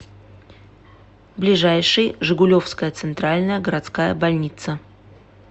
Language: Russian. ближайший жигулевская центральная городская больница